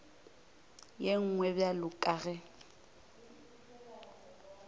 ye nngwe bjalo ka ge